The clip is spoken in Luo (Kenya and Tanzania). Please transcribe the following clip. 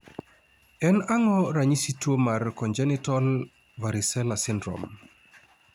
en ang'o ranyisi tuo mar Congenital varicella syndrome?